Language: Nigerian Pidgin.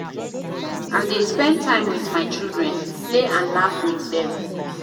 I dey spend time wit my children, play and laugh wit dem.